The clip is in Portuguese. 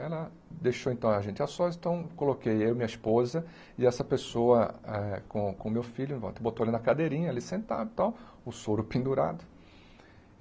Ela deixou então a gente a sós, então coloquei eu, minha esposa e essa pessoa eh com com meu filho em volta, botou ele na cadeirinha ali sentado e tal, o soro pendurado.